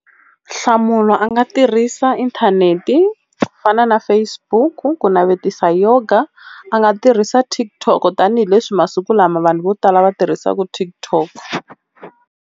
Nhlamulo a nga tirhisa inthanete ku fana na Facebook ku navetisa Yoga. A nga tirhisa TikTok tanihileswi masiku lama vanhu vo tala va tirhisaka TikTok.